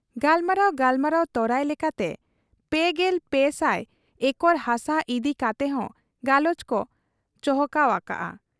ᱜᱟᱞᱢᱟᱨᱟᱣ ᱜᱟᱞᱢᱟᱨᱟᱣ ᱛᱚᱨᱟᱭ ᱞᱮᱠᱟᱛᱮ ᱓᱓᱐᱐ ᱮᱠᱚᱨ ᱦᱟᱥᱟ ᱤᱫᱤ ᱠᱟᱛᱮᱦᱚᱸ ᱜᱟᱞᱚᱪᱠᱚ ᱪᱚᱦᱚᱣᱟᱠᱟᱜ ᱟ ᱾